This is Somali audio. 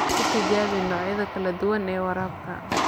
Ku tijaabi noocyada kala duwan ee waraabka.